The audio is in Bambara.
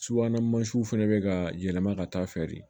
Subahana mansinw fana bɛ ka yɛlɛma ka taa feere